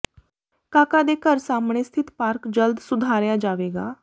ਕਾਕਾ ਦੇ ਘਰ ਸਾਹਮਣੇ ਸਥਿਤ ਪਾਰਕ ਜਲਦ ਸੁਧਾਰਿਆ ਜਾਵੇਗਾ